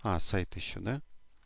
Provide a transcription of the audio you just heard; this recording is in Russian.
а сайт ещё да